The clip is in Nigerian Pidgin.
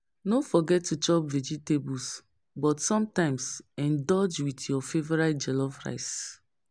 No forget to chop vegetables, but sometimes indulge with your favorite jollof rice.